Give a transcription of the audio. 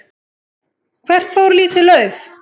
Hvert fór lítið lauf?